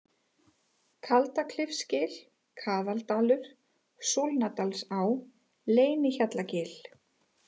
Kaldaklifsgil, Kaðaldalur, Súlnadalsá, Leynihjallagil